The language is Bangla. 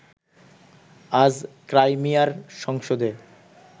আজ ক্রাইমিয়ার সংসদে